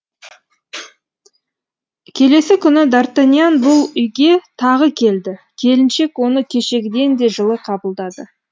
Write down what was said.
келесі күні д артаньян бұл үйге тағы келді келіншек оны кешегіден де жылы қабылдады